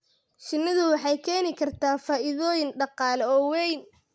Shinnidu waxay keeni kartaa faa'iidooyin dhaqaale oo weyn.